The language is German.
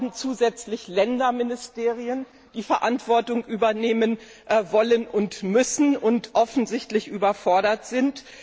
Wir haben zusätzlich Länderministerien, die Verantwortung übernehmen wollen und müssen und offensichtlich überfordert sind.